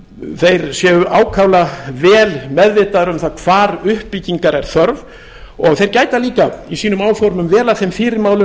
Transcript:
og þeir séu ákaflega vel meðvitaðir um það hvar uppbyggingar er þörf og þeir gæta líka í sínum áformum vel að þeim